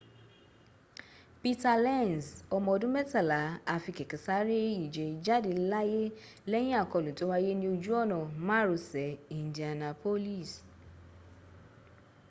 peter lenz, ọmọ ọdún mẹ́tàlá a fi kẹ̀kẹ́ sáré ìje jáde láyé lẹ́yìn àkọlù tó wáyé ni ojú ọ̀nà márosẹ̀ indianapolis